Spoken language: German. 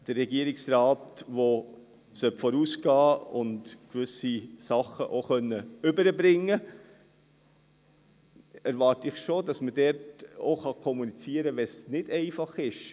Vom Regierungsrat, der vorausgehen und gewisse Dinge auch vermitteln können soll, erwarte ich schon, dass man auch dann kommunizieren kann, wenn es nicht einfach ist.